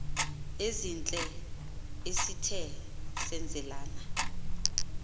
ezihle esithe senzelana